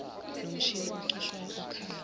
nomshini ocushwayo okhala